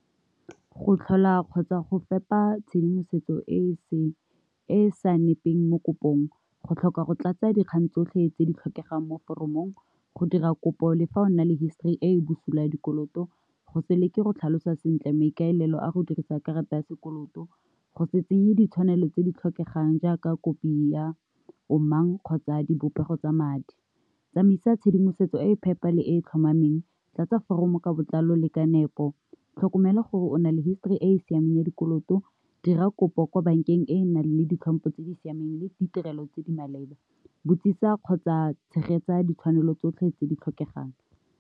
Go tlhola kgotsa go fepa tshedimosetso e e sa nepeng mo kopong, go tlhoka go tlatsa dikgang tsotlhe tse di tlhokegang mo foromong, go dira kopo le fa o na le histori e bosula ya dikoloto, go se leke go tlhalosa sentle maikaelelo a go dirisa karata ya sekoloto, go se tsenye ditshwanelo tse di tlhokegang jaaka kopi ya omang kgotsa dipopego tsa madi. Tsamaisa tshedimosetso e e phepa le e e tlhomameng, tla tsa foromo ka botlalo le ka nep, o tlhokomela gore o na le histori e e siameng ya dikoloto, dira kopo kwa bankeng e e nang le ditlhopho tse di siameng le ditirelo tse di maleba, botsisa kgotsa tshegetsa ditshwanelo tsotlhe tse di tlhokegang.